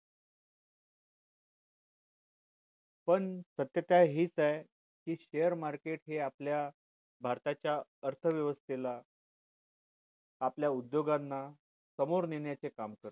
पण सत्य हेच आहे share market हे आपल्या भारताच्या अर्थ वेवस्थेला आपल्या उद्योगांना समोर नेण्याचे काम करते